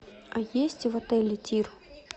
а есть в отеле тир